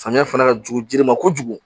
Samiya fana ka jugu jiri ma kojugu